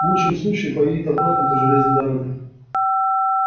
в лучшем случае поедет обратно по железной дороге